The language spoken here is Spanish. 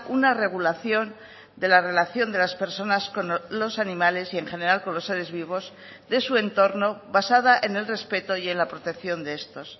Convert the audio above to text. una regulación de la relación de las personas con los animales y en general con los seres vivos de su entorno basada en el respeto y en la protección de estos